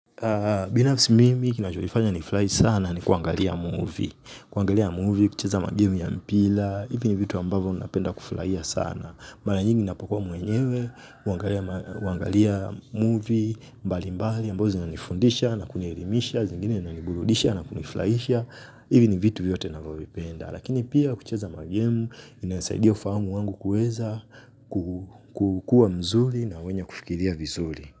Binafsi mimi kinachonifanya nifurahi sana ni kuangalia movie kuangalia movie, kucheza magemu ya mpira, hivi ni vitu ambavo napenda kufurahia sana mara nyingi ninapokuwa mwenyewe, huangalia movie, mbali mbali ambazo zinanifundisha na kunielimisha, zingine zinaniburudisha na kunifurahisha hivi ni vitu vyote navyovipenda lakini pia kucheza magemu, inasaidia ufahamu wangu kuweza kukua mzuri na wenye kufikiria vizuri.